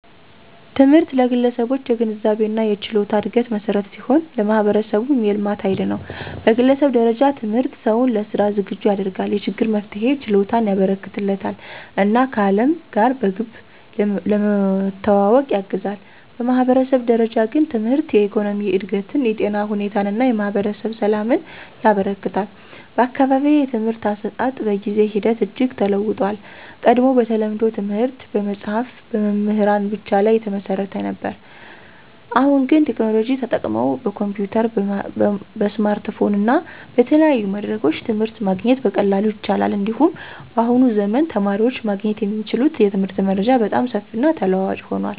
ትምህርት ለግለሰቦች የግንዛቤና የችሎታ እድገት መሠረት ሲሆን፣ ለማህበረሰቡም የልማት ኃይል ነው። በግለሰብ ደረጃ ትምህርት ሰውን ለሥራ ዝግጁ ያደርጋል፣ የችግር መፍትሄ ችሎታን ያበረከትለታል እና ከዓለም ጋር በግብ ለመዋወቅ ያግዛል። በማህበረሰብ ደረጃ ግን ትምህርት የኢኮኖሚ እድገትን፣ የጤና ሁኔታን እና የማህበረሰብ ሰላምን ያበረክታል። በአካባቢዬ የትምህርት አሰጣጥ በጊዜ ሂደት እጅግ ተለውጦአል። ቀድሞ በተለምዶ ትምህርት በመጽሀፍትና በመምህራን ብቻ ላይ የተመሰረተ ነበር። አሁን ግን ቴክኖሎጂ ተጠቅመው በኮምፒዩተር፣ በስማርትፎን እና በተለያዩ መድረኮች ትምህርት ማግኘት በቀላሉ ይቻላል። እንዲሁም በአሁኑ ዘመን የተማሪዎች ማግኘት የሚችሉት የትምህርት መረጃ በጣም ሰፊና ተለዋዋጭ ሆኗል።